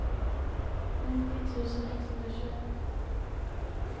nittio tusen etthundratjugoett